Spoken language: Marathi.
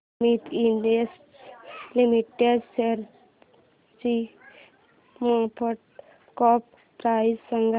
सुमीत इंडस्ट्रीज लिमिटेड शेअरची मार्केट कॅप प्राइस सांगा